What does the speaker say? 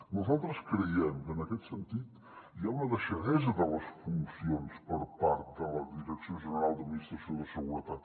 nosaltres creiem que en aquest sentit hi ha una deixadesa de les funcions per part de la direcció general d’administració de seguretat